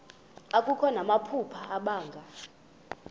akho namaphupha abanga